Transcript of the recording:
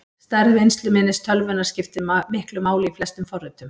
Stærð vinnsluminnis tölvunnar skiptir miklu máli í flestum forritum.